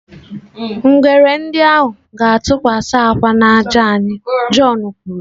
Ngwere ndị ahụ ga-atụkwasị akwa n'ájá anyị, john kwuru.